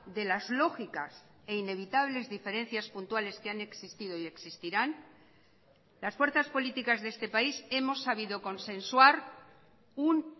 de las lógicas e inevitables diferencias puntuales que han existido y existirán las fuerzas políticas de este país hemos sabido consensuar un